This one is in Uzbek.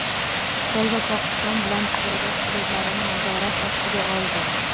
Xitoy va Pokiston bilan chegaradosh hududlarini nazorat ostiga oldi.